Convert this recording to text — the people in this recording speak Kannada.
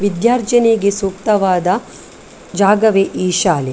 ವಿದ್ಯಾರ್ಜನೆಗೆ ಸೂಕ್ತವಾದ ಜಾಗವೇ ಈ ಶಾಲೆ .